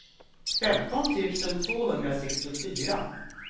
femton tusen tvåhundrasextiofyra